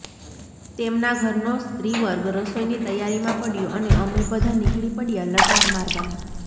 તેમના ઘરનો સ્ત્રીવર્ગ રસોઈની તૈયારીમાં પડ્યો અને અમે બધા નીકળી પડ્યા લટાર મારવાં